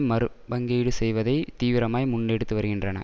மறுபங்கீடு செய்வதை தீவிரமாய் முன்னெடுத்து வருகின்றன